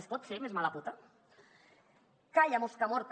es pot ser més mala puta calla mosca morta